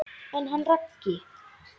En hann Raggi?